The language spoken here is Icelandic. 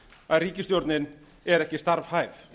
að ríkisstjórnin er ekki starfhæf